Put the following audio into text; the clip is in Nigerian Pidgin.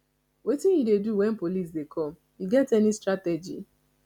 wetin you dey do when police dey come you get any strategy